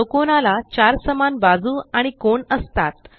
चौकोनाला चार समान बाजू आणि कोण असतात